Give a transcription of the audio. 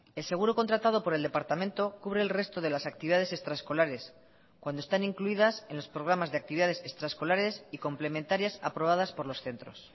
el seguro contratado por el departamento cubre el resto de las actividades extraescolares cuando están incluidas en los programas de actividades extraescolares y complementarias aprobadas por los centros